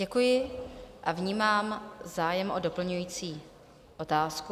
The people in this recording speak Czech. Děkuji a vnímám zájem o doplňující otázku.